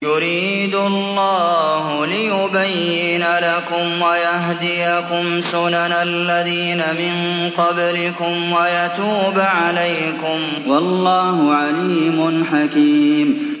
يُرِيدُ اللَّهُ لِيُبَيِّنَ لَكُمْ وَيَهْدِيَكُمْ سُنَنَ الَّذِينَ مِن قَبْلِكُمْ وَيَتُوبَ عَلَيْكُمْ ۗ وَاللَّهُ عَلِيمٌ حَكِيمٌ